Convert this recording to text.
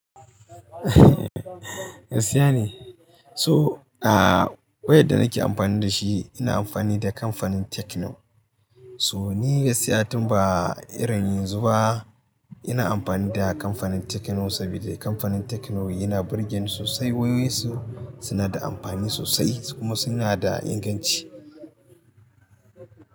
Gaskiya ne. So, ah, wayar da nake amfani da shi ina amfani da kamfanin Tecno. So ni gaskiya tun ba irin yanzu ba ina amfani da kamfanin Tecno saboda kamfanin Tecno yana birgen sosai wayoyinsu suna da amfani sosai kuma suna da inganci.